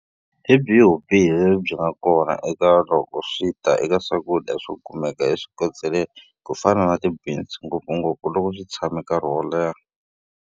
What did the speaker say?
Hi byihi vubihi lebyi byi nga va ka kona loko swi ta eka swakudya swo kumeka eswikoteleni, ku fana na ti-beans ngopfungopfu loko swi tshame nkarhi wo leha?